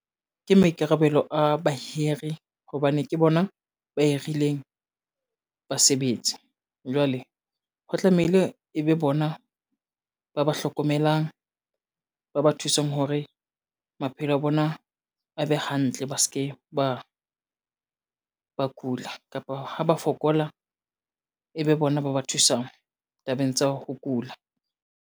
Ke maikarabelo a bahire hobane ke bona ba hirileng, basebetsi, jwale ho tlamehile e be bona ba ba hlokomelang, ba ba thusang hore maphelo a bona a be hantle, ba ske ba ba kula kapa ha ba fokola, e be bona ba ba thusang tabeng tsa ho kula.